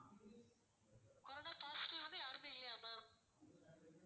corona positive வந்து யாருமே இல்லையா ma'am